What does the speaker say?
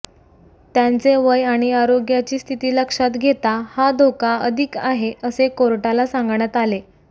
त्यांचे वय आणि आरोग्याची स्थिती लक्षात घेता हा धोका अधिक आहे असे कोर्टाला सांगण्यात आले